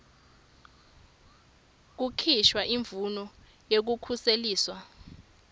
kukhishwa imvumo yekukhuseliswa